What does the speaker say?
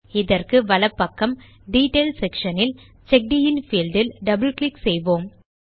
இதற்கு வலப் பக்கம் டீட்டெயில் செக்ஷன் இல் செக்கடின் பீல்ட் இல் டபிள் கிளிக் செய்வோம்